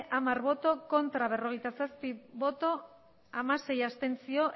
hamar bai berrogeita zazpi ez hamasei abstentzio